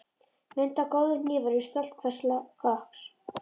Mundu að góðir hnífar eru stolt hvers kokks.